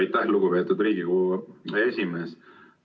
Aitäh, lugupeetud Riigikogu esimees!